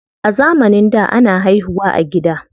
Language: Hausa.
A zamanin da, ana haihu wa a gida.